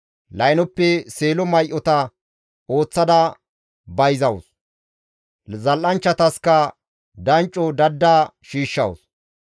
Laynoppe seelo may7ota ooththada bayzawus; zal7anchchataskka dancco dadda shiishshawus.